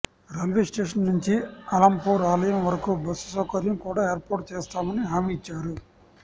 railway station నుంచి అలంపూర్ ఆలయం వరకు బస్సు సౌకర్యం కూడ ఏర్పాటు చేస్తామని హామీ ఇచ్చారు